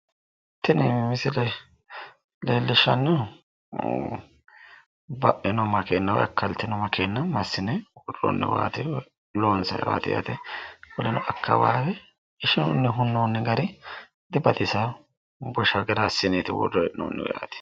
Tini misile leellishannohu baino makeenna woyi akkaltino makeenna massine duunnoonniwaati. loonsayiiwaati yaate akaawaawe ishinunni hunnoonni gari dibaxisaaho. busha gara assine worre hee'noonnihu yaate.